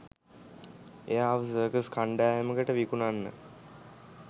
එයාව සර්කස් කණ්ඩායමකට විකුණන්න.